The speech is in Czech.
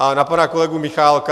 A na pana kolegu Michálka.